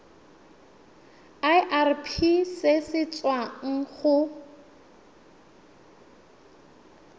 irp se se tswang go